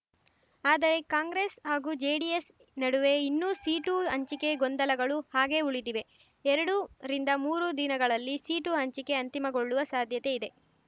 ಆದರೆ ಕಾಂಗ್ರೆಸ್ ಹಾಗೂ ಜೆಡಿಎಸ್ ನಡುವೆ ಇನ್ನೂ ಸೀಟು ಹಂಚಿಕೆ ಗೊಂದಲಗಳು ಹಾಗೆ ಉಳಿದಿವೆ ಎರಡು ರಿಂದ ಮೂರು ದಿನಗಳಲ್ಲಿ ಸೀಟು ಹಂಚಿಕೆ ಅಂತಿಮಗೊಳ್ಳುವ ಸಾಧ್ಯತೆ ಇದೆ